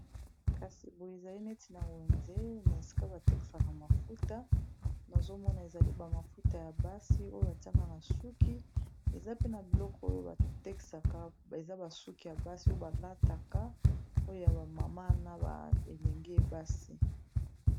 kasi boyo ezali neti na wenze na esika bateksaka mafuta nazomona ezali bamafuta ya basi oyo batiaka na suki eza pe na biloko oyo bateksaka eza basuki ya basi oyo balataka oyo ya bamama na elenge ebasi